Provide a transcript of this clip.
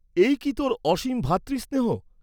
এই কি তোর অসীম ভ্রাতৃস্নেহ?